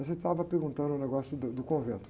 Mas você estava perguntando o negócio do, do convento.